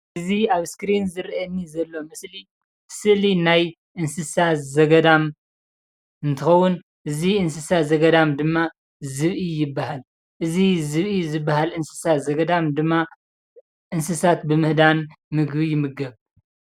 እዚ ኣብ ስክሪን ዝርኣየኒ ዘሎ ምስሊ ስእሊ ናይ እንስሳ ዘገዳም እንትከውን እዙይ እንስሳ ዘገዳም ድማ ዝብኢ ይብሃል። እዙይ ዝብኢ ዝብሃል እንስሳ ዘገዳም ድማ እንስሳት ብምህዳም ምግቢ ይምገብ።